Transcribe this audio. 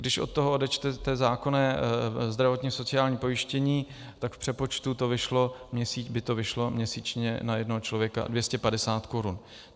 Když od toho odečtete zákonné zdravotní a sociální pojištění, tak v přepočtu by to vyšlo měsíčně na jednoho člověka 250 korun.